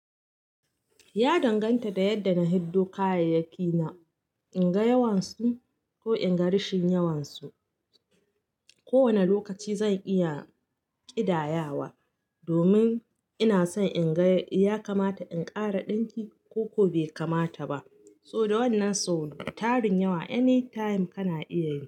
Ya danganta da yadda na hiddo kayyayaki na, in ga yawansu ko in ga rashin yawan su. Ko wane lokaci zan iya ƙidayawa, domin ina so in ga ya kamata in ƙara dinki ko-ko be kamata ba. So da wannan so tarin yawa any time kana iya yi.